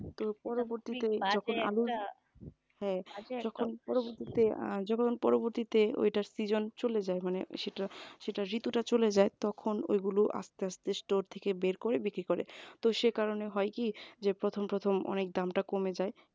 আহ যখন পরবর্তী তে ওইটা season চলে যায় মানে ঋতু টা চলে যায় তখন ওইগুলো আস্তে আস্তে store থেকে বের করে বিক্রি করে তো সে কারণে হয় কি যে প্রথম প্রথম অনেক দামটা কমে যায়